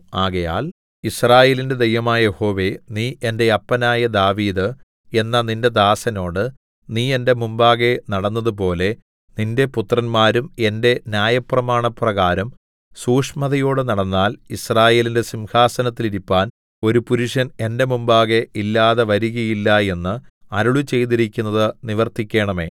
ആകയാൽ യിസ്രായേലിന്റെ ദൈവമായ യഹോവേ നീ എന്റെ അപ്പനായ ദാവീദ് എന്ന നിന്റെ ദാസനോട് നീ എന്റെ മുമ്പാകെ നടന്നതുപോലെ നിന്റെ പുത്രന്മാരും എന്റെ ന്യായപ്രമാണപ്രകാരം സൂക്ഷ്മതയോടെ നടന്നാൽ യിസ്രായേലിന്റെ സിംഹാസനത്തിൽ ഇരിപ്പാൻ ഒരു പുരുഷൻ എന്റെ മുമ്പാകെ ഇല്ലാതെ വരികയില്ല എന്ന് അരുളിച്ചെയ്തിരിക്കുന്നത് നിവർത്തിക്കേണമേ